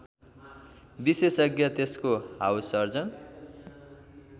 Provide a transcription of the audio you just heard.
विशेषज्ञ त्यसको हाउससर्जन